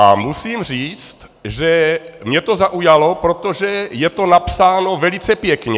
A musím říct, že mě to zaujalo, protože je to napsáno velice pěkně.